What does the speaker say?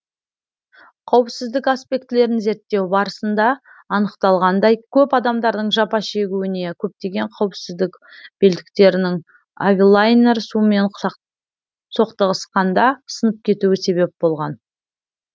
қауіпсіздік аспектілерін зерттеу барысында анықталғандай көп адамдардың жапа шегуіне көптеген қауіпсіздік белдіктерінің авилайнер сумен соқтығысқанда сынып кетуі себеп болған